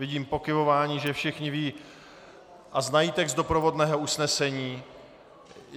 Vidím pokyvování, že všichni vědí a znají text doprovodného usnesení.